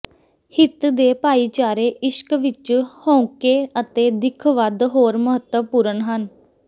ਹਿੱਤ ਦੇ ਭਾਈਚਾਰੇ ਇਸ਼ਕ ਵਿਚ ਹਉਕੇ ਅਤੇ ਦਿੱਖ ਵੱਧ ਹੋਰ ਮਹੱਤਵਪੂਰਨ ਹਨ